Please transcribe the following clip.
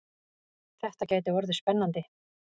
Þetta gæti orðið spennandi!